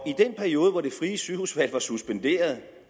i den periode hvor det frie sygehusvalg er suspenderet